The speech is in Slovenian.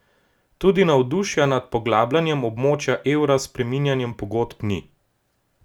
Tudi navdušenja nad poglabljanjem območja evra s spreminjanjem pogodb ni.